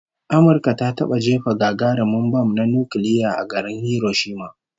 Amurka ta taba jefa gagarumin bam na nukiliya a garin Hiroshima